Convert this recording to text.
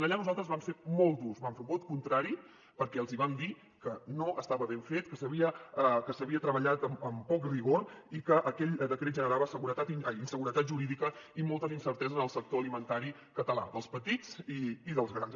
allà nosaltres vam ser molt durs vam fer un vot contrari perquè els vam dir que no estava ben fet que s’havia treballat amb poc rigor i que aquell decret generava inseguretat jurídica i moltes incerteses en el sector alimentari català dels petits i dels grans